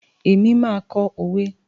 Ẹ máa kọ́ òwe.